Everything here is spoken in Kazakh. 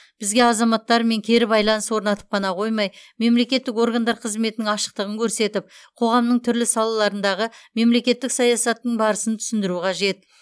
бізге азаматтармен кері байланыс орнатып қана қоймай мемлекеттік органдар қызметінің ашықтығын көрсетіп қоғамның түрлі салаларындағы мемлекеттік саясаттың барысын түсіндіру қажет